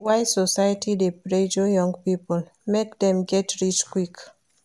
Why society dey pressure young people make dem get rich quick?